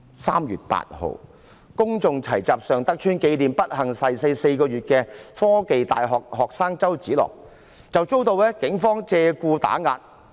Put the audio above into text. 3月8日，公眾齊集尚德邨，紀念不幸逝世4個月的香港科技大學學生周梓樂，遭警方借故打壓。